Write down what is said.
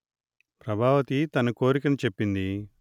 ప్రభావతి తన కోరికను చెప్పింది